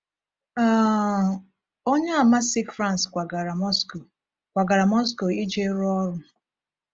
um Onye Àmà si France kwagara Moscow kwagara Moscow iji rụọ ọrụ.